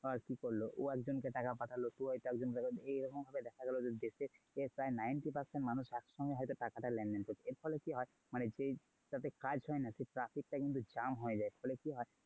ধর কি হলো ও একজনকে টাকা পাঠালো তুই হয়তো একজনকে টাকা পাঠালি এই রকম ভাবে দেখা গেলো দেশের প্রায় ninty percent মানুষ একসঙ্গে হয়তো টাকাটা লেনদেন করছে এর ফলে কি হয় মানে যাতে কাজ হয় না সেই প্রাচীর টা কিন্তু jam হয়ে যায়। ফলে কি হয়?